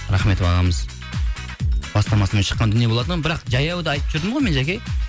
рахметов ағамыз бастамасымен шыққан дүние болатын бірақ жаяуды айтып жүрдім ғой мен жаке